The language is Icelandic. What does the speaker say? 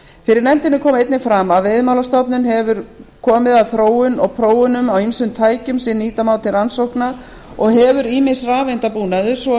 fyrir nefndinni kom einnig fram að veiðimálastofnun hefur komið að þróun og prófunum á ýmsum tækjum sem nýta má til rannsókna og hefur ýmis rafeindabúnaður svo